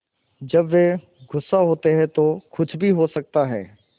जब वे गुस्सा होते हैं तो कुछ भी हो सकता है